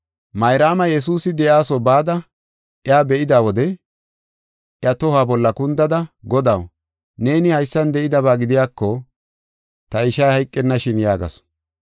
Mayraama Yesuusi de7iyasuwa bada iya be7ida wode iya tohuwa bolla kundada, “Godaw, neeni haysan de7idaba gidiyako ta ishay hayqennashin” yaagasu.